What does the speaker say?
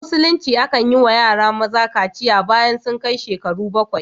A Musulunce akan yi wa yara maza kaciya bayan sun kai shekaru bakwai.